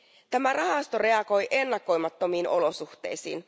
Tämä rahasto reagoi ennakoimattomiin olosuhteisiin.